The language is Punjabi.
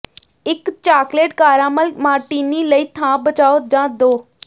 ਇਕ ਚਾਕਲੇਟ ਕਾਰਾਮਲ ਮਾਰਟੀਨੀ ਲਈ ਥਾਂ ਬਚਾਓ ਜਾਂ ਦੋ